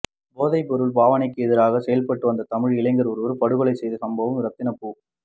போதைப்பொருள் பாவனைக்கு எதிராக செயற்பட்டுவந்த தமிழ் இளைஞரொருவர் படுகொலை செய்யப்பட்ட சம்பவம் இரத்தினபு